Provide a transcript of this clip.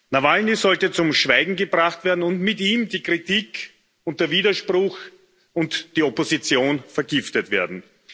Nawalny sollte zum Schweigen gebracht werden, und mit ihm sollten die Kritik und der Widerspruch und die Opposition vergiftet werden.